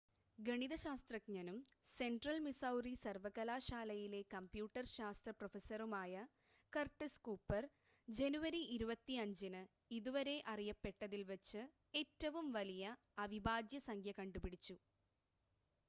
ഗണിത ശാസ്ത്രജ്ഞനും central Missouri സർവ്വകലാശാലയിലെ കമ്പ്യൂട്ടർ ശാസ്ത്ര പ്രൊഫസറുമായ കർട്ടിസ് കൂപ്പർ ജനുവരി 25-ന് ഇതുവരെ അറിയപ്പെട്ടതിൽ വച്ച് ഏറ്റവും വലിയ അവിഭാജ്യ സംഖ്യ കണ്ടുപിടിച്ചു